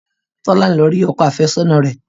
Tolani lọ rí ọkọ àfẹ́sọ́nà rẹ̀